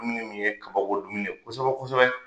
Dumuni mun ye kabako dumuni ye kosɛbɛ kosɛbɛ.